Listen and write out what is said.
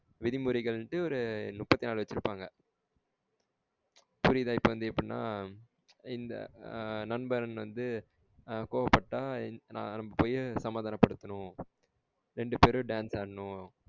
விதிமுரைகளுனுட்டு ஒரு முபத்தினாலு வச்சிருபாங்க புரியுதா? இப்ப வந்து எப்டினா இந்த நண்பன் வந்து ஆஹ்ன் கோவபட்டா அப்பயே சமாதான படுத்தனும் ரெண்டு பேரும் dance ஆடனும்.